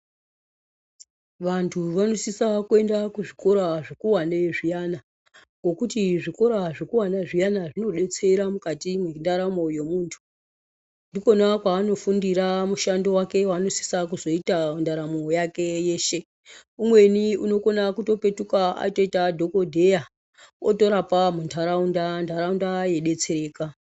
Vantu vanosisa kuenda kuzvikora zvikuwane zviyana ngokuti zvikora zvikuwane zviyana zvinodetsera mukati mwendaramo yemuntu ndikona kwaanofundira mushando waanosisa kuzoita ndaramo yake yeshe umweni unokona kupetuka atoite dhokodheya otorapa muntaraunda ntaraunda yeidetsereka.